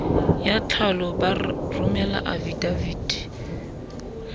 ya tlhalo ba romele afidaviti